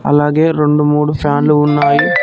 అలాగే రెండు మూడు ఫ్యాన్లు ఉన్నాయి.